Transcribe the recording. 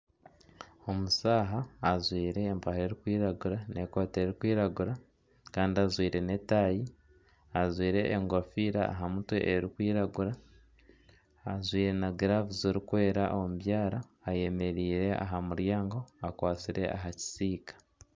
Omushaija ajwaire empare erikwiragura n'ekooti erikwiragura kandi ajwaire n'etaayi. Ajwaire enkofiira aha mutwe erikwiragura ajwaire na giraavu zirikwera omu byara ayemereire aha muryango akwatsire aha kisiika.